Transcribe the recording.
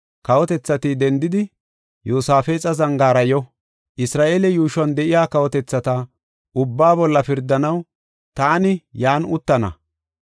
“Kawotethati dendidi, Yoosafexa zangaara yo; Isra7eele yuushuwan de7iya kawotethata, ubbaa bolla pirdanaw taani yan uttana.